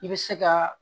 I bɛ se ka